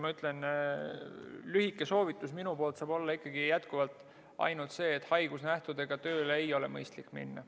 No minu lühike soovitus saab olla jätkuvalt ainult see, et haigusnähtudega ei ole mõistlik tööle minna.